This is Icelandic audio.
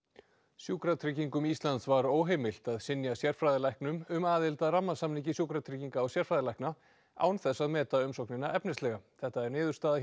sjúkratryggingum Íslands var óheimilt að synja sérfræðilæknum um aðild að rammasamningi Sjúkratrygginga og sérfræðilækna án þess að meta umsóknina efnislega þetta er niðurstaða